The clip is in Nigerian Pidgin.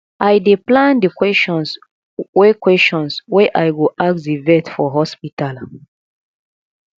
i dey plan di questions wey questions wey i go ask di vet for hospital